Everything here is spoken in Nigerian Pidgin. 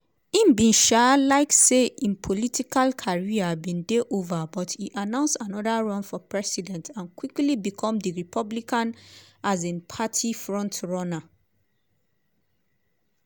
e be um like say im political career bin dey ova but e announce anoda run for president and quickly become di republican um party frontrunner.